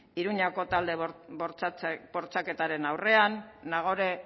iruñeko talde bortxaketaren aurrean nagore